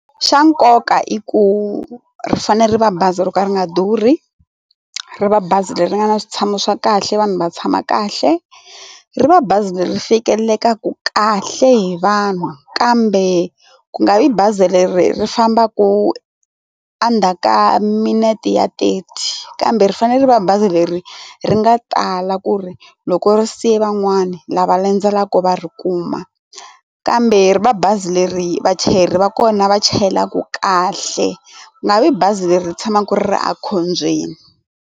Xa nkoka i ku ri fanele ri va bazi ro ka ri nga durhi, ri va bazi leri nga na switshamo swa kahle vanhu va tshama kahle, ri va bazi leri fikelekaku kahle hi vanhu kambe ku nga vi bazi leri ri fambaku endzhaku ka minete ya thirty kambe ri fanele va bazi leri ri nga tala ku ri loko ri siye van'wani lava landzelaku va ri kuma kambe ri va bazi leri vachayeri va kona va chayelaka kahle ku nga vi bazi leri tshamaka ri ri ekhombyeni.